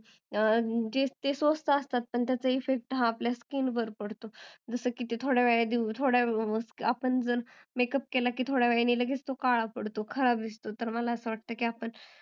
ते स्वस्त असतात पण त्याचा effect स्किन वर पडतो जसं की ते थोड्यावेळाने आपण केलेल्या makeup काळा पडतो खराब दिसतो तर मला असं वाटतं